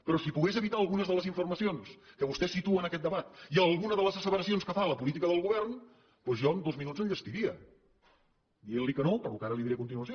però si pogués evitar algunes de les informacions que vostè situa en aquest debat i alguna de les asseveracions que fa a la política del govern doncs jo en dos minuts enllestiria dient li que no pel que ara li diré a continuació